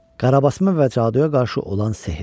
Qarabasana və caduya qarşı olan sehir.